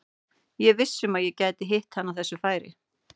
Ég er viss um að ég gæti hitt hann á þessu færi.